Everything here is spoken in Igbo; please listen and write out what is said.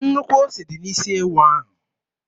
Nnukwu ose dị n'isi ewu ahụ.